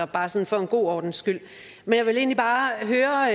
bare sådan for god ordens skyld jeg vil egentlig bare høre